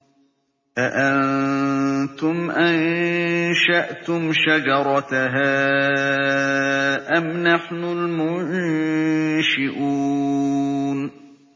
أَأَنتُمْ أَنشَأْتُمْ شَجَرَتَهَا أَمْ نَحْنُ الْمُنشِئُونَ